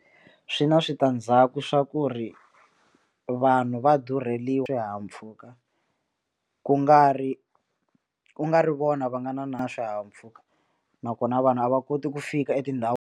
Swi na switandzhaku swa ku ri vanhu va durheliwa swihahampfhuka ku nga ri ku nga ri vona va nga na na swihahampfhuka nakona vanhu a va koti ku fika .